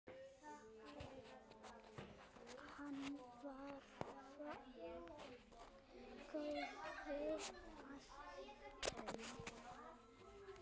Hann var af góðum ættum.